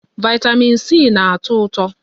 Vị́tamị́n C na-atọ ụtọ.